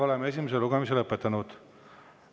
Oleme esimese lugemise lõpetanud.